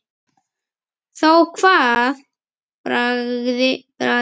Þá kvað Bragi